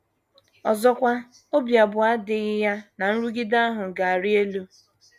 Ọzọkwa, obi abụọ adịghị ya na nrụgide ahụ ga - arị elu.